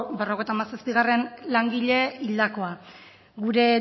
berrogeita hamazazpigarrena hildakoa gure